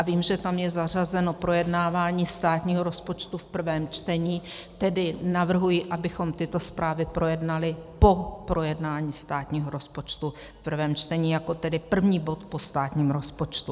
A vím, že tam je zařazeno projednávání státního rozpočtu v prvém čtení, tedy navrhuji, abychom tyto zprávy projednali po projednání státního rozpočtu v prvém čtení jako tedy první bod po státním rozpočtu.